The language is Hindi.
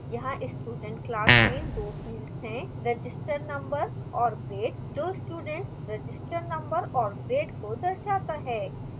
यहाँ student class में दो fields हैंregister number और grade जो student रजिस्ट्रैशन number और grade को दर्शाता है